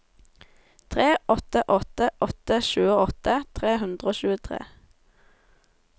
tre åtte åtte åtte tjueåtte tre hundre og tjuetre